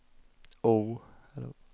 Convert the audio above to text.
O